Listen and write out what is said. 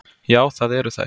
Já, það eru þær.